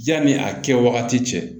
Yanni a kɛ waati cɛ